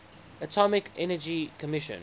atomic energy commission